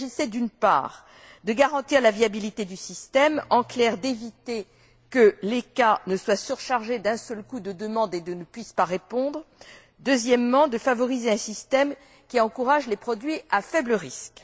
Il s'agissait, d'une part, de garantir la viabilité du système, en clair d'éviter que l'ECHA ne soit surchargé d'un seul coup de demandes et ne puisse pas répondre, et, d'autre part, de favoriser un système qui encourage les produits à faible risque.